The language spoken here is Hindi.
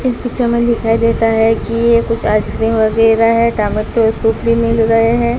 इस पिक्चर में दिखाई देता है कि ये कुछ आइसक्रीम वगैरह हैं टमाटर सूप भी मिल रहे हैं।